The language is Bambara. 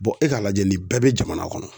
e k'a lajɛ nin bɛɛ be jamana kɔnɔ